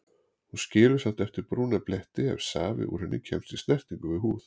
Hún skilur samt eftir brúna bletti ef safi úr henni kemst í snertingu við húð.